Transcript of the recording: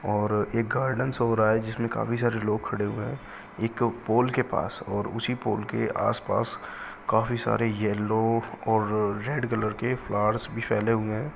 और एक garden show हो रहा है जिसमे काफी सारे लोग खड़े हुए हैं एक पोल के पास और उसी पोल के आस-पास काफी सारे येलो और रेड कलर के फ्लावर्स भी फैले हुए हैं।